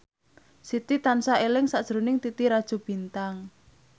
Siti tansah eling sakjroning Titi Rajo Bintang